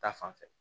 Ta fanfɛ